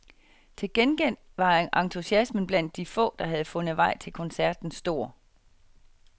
Til gengæld var entusiasmen blandt de få der havde fundet vej til koncerten stor.